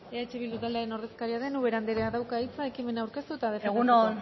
eh bildu taldearen ordezkaria den ubera andreak dauka hitza ekimena aurkeztu eta defendatzeko egun on